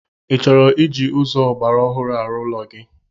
Ị chọrọ iji ụzọ ọgbaraọhụrụ arụ ụlọ gi?